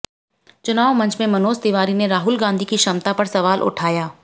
चुनाव मंच में मनोज तिवारी ने राहुल गांधी की क्षमता पर सवाल उठाया